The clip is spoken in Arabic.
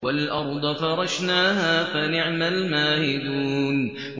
وَالْأَرْضَ فَرَشْنَاهَا فَنِعْمَ الْمَاهِدُونَ